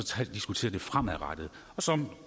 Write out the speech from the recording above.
diskutere det fremadrettede som